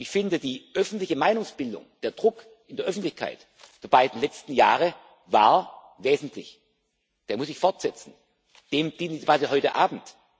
tun. Ich finde, die öffentliche Meinungsbildung, der Druck in der Öffentlichkeit der beiden letzten Jahre war wesentlich. Der muss sich fortsetzen, dem dient die Debatte heute